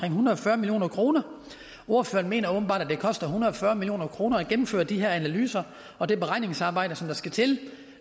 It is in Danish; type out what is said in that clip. en hundrede og fyrre million kroner ordføreren mener åbenbart at det koster en hundrede og fyrre million kroner at gennemføre de her analyser og det beregningsarbejde som der skal til